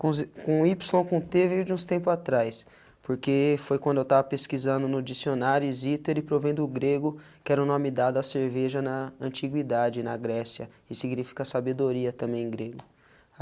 com ípsilo com tê veio de uns tempos atrás, porque foi quando eu estava pesquisando no dicionário Zither e provém do o grego, que era o nome dado à cerveja na antiguidade, na Grécia, e significa sabedoria também em grego.